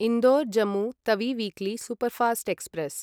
Indore Jammu Tawi weekly superfast express